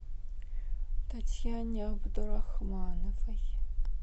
татьяне абдурахмановой